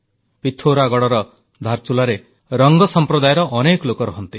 ପିଥୌରାଗଡ଼ର ଧାରଚୁଲାରେ ରଙ୍ଗ ସମ୍ପ୍ରଦାୟର ଅନେକ ଲୋକ ରହନ୍ତି